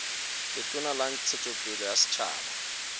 letona la ntshetsopele ya setjhaba